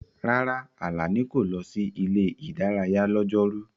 Rárá, Alani kò lọ sí ilé-ìdárayá lọ́jọ́rú.